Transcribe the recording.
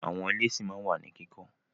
Àwọn ilé ṣí ma wà ní kíkọ́.